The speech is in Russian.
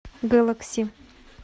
гэлэкси